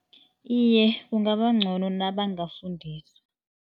Iye, kungaba ngcono nabangafundiswa.